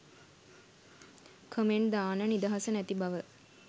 comment දාන්න නිදහස නැති බව